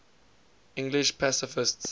english pacifists